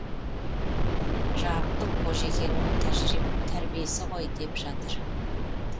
жарықтық қожекеңнің тәрбиесі ғой деп жатыр